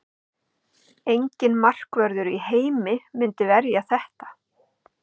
Enginn markvörður í heimi myndi verja þetta.